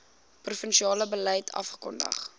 provinsiale beleid afgekondig